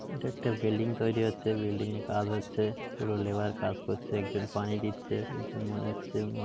এটা একটা বিল্ডিং তৈরি হচ্ছে বিল্ডিংয় -এ কাজ হচ্ছে দুজন লেবার কাজ করছে একজন পানি দিচ্ছে একজন মনে হচ্ছে ম--